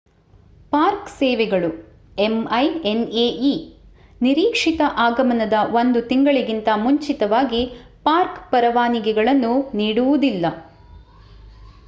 park ಸೇವೆಗಳು minae ನಿರೀಕ್ಷಿತ ಆಗಮನದ ಒಂದು ತಿಂಗಳಿಗಿಂತ ಮುಂಚಿತವಾಗಿ ಪಾರ್ಕ್ ಪರವಾನಗಿಗಳನ್ನು ನೀಡುವುದಿಲ್ಲ